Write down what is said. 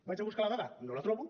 vaig a buscar la dada no la trobo